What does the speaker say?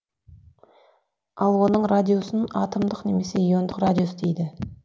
ал оның радиусын атомдық немесе иондық радиус дейді